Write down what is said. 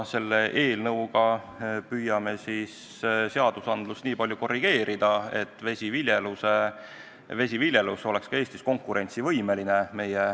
Selle eelnõuga püüame seadust nii palju korrigeerida, et vesiviljelus oleks Eestis meie naaberriikidega võrreldes konkurentsivõimeline.